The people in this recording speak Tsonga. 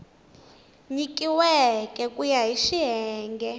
nyikiweke ku ya hi xiyenge